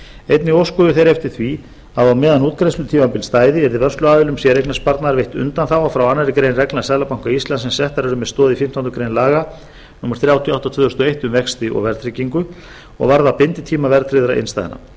einnig óskuðu þeir eftir því að á meðan útgreiðslutímabili stæði yrði vörsluaðilum séreignarsparnaðar veitt undanþága frá annarri grein reglna seðlabanka íslands sem settar eru með stoð í fimmtándu grein laga númer þrjátíu og átta tvö þúsund og eitt um vexti og verðtryggingu og varða binditíma verðtryggðra innstæðna